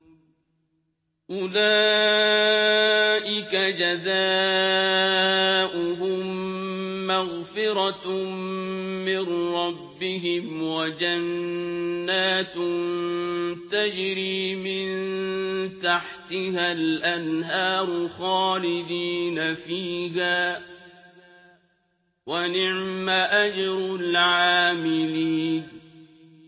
أُولَٰئِكَ جَزَاؤُهُم مَّغْفِرَةٌ مِّن رَّبِّهِمْ وَجَنَّاتٌ تَجْرِي مِن تَحْتِهَا الْأَنْهَارُ خَالِدِينَ فِيهَا ۚ وَنِعْمَ أَجْرُ الْعَامِلِينَ